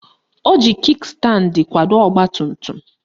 Ọ ji Kik standi kwado ọgbatumtum